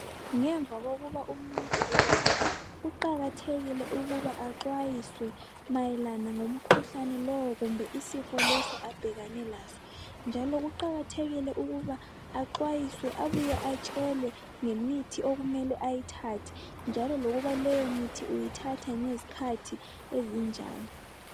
Ngemva kokuba umuntu elatshwe kuqakathekile ukuba axwayiswe mayelana lomkhuhlane lowo kumbe isifo leso abhekane laso njalo kuqakathekile ukuba axwayiswe abuye atshelwe ngemithi okumele ayithathe njalo lokuba leyomithi uyithatha ngezikhathi ezinjani.